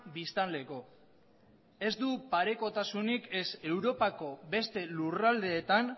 biztanleko ez du parekotasunik ez europako beste lurraldeetan